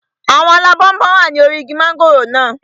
Àwọn alábọnbon wà ní orí igi mọ́ngòrò naa